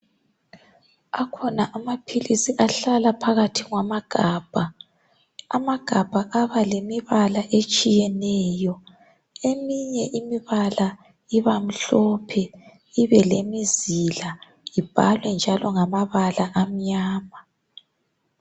Akhona amaphilisi ahlala phakathi kwama gabha, amagabha aba lemibala etshiyeneyo. Eminye imibala ibamhlophe ibe lemizila ibhalwe njalo ngamabala amnyama.